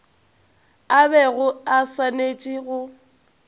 a bego a swanetše go